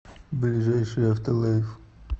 ближайший авто лайф